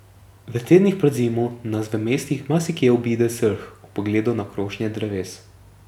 V tednih pred zimo nas v mestih marsikje obide srh ob pogledu na krošnje dreves.